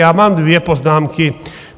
Já mám dvě poznámky.